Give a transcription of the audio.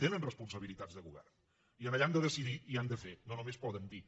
tenen responsabilitats de govern i allà han de decidir i han de fer no només poden dir